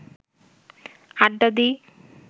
আড্ডা দিই